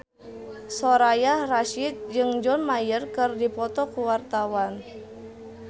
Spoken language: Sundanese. Soraya Rasyid jeung John Mayer keur dipoto ku wartawan